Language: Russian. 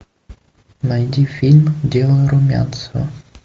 найди фильм дело румянцева